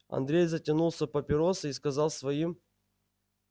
андрей затянулся папиросой и сказал своим